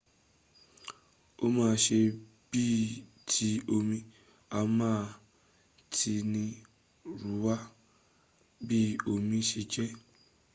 o ma se bii ti omi a ma tinirunwa bi omi se je